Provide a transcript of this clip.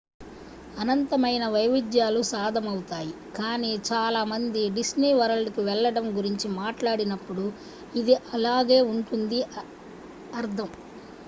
"అనంతమైన వైవిధ్యాలు సాధమవుతాయి కానీ చాలా మంది "డిస్నీ వరల్డ్‌కు వెళ్లడం" గురించి మాట్లాడినప్పుడు ఇది అలాగే ఉంటుందని అర్థం.